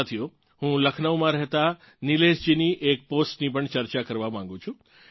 સાથીઓ હું લખનૌમાં રહેતાં નિલેશજીની એક પોસ્ટની પણ ચર્ચા કરવાં માગું છું